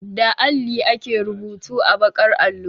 Da alli ake rubutu a baƙar allo.